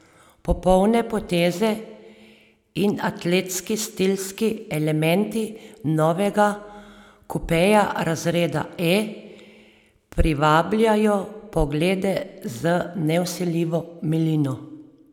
Popolne poteze in atletski stilski elementi novega kupeja razreda E privabljajo poglede z nevsiljivo milino.